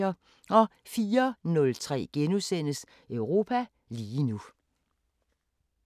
04:03: Europa lige nu *